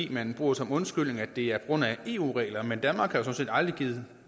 man bruger som undskyldning at det er på grund af eu regler men danmark har jo sådan set aldrig